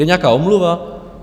Je nějaká omluva?